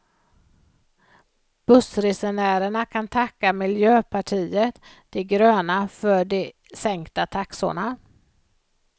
Bussresenärerna kan tacka miljöpartiet de gröna för de sänkta taxorna.